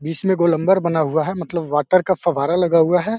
बीस में गोलंबर बना हुआ है मतलब वाटर का फव्वारा लगा हुआ है।